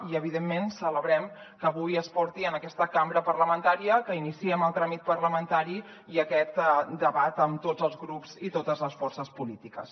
i evidentment celebrem que avui es porti en aquesta cambra parlamentària que iniciem el tràmit parlamentari i aquest debat amb tots els grups i totes les forces polítiques